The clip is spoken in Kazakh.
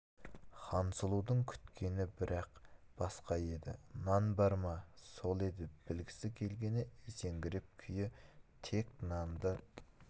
хансұлудың күткені бірақ басқа еді нан бар ма сол еді білгісі келгені есеңгіреген күйі тек нанды